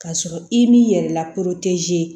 K'a sɔrɔ i m'i yɛrɛ lakodɔn